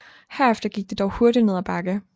Herefter gik det dog hurtigt ned ad bakke